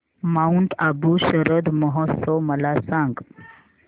Mount Abu शरद महोत्सव मला सांग